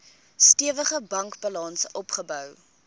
stewige bankbalans opgebou